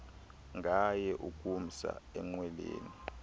ngaye ukumsa enqwelweni